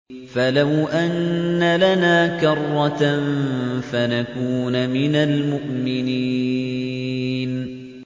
فَلَوْ أَنَّ لَنَا كَرَّةً فَنَكُونَ مِنَ الْمُؤْمِنِينَ